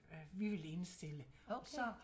Øh vi vil indstille og så